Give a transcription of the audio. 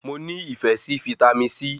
I like Vitamin C